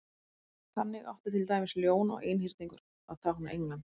þannig átti til dæmis ljón og einhyrningur að tákna england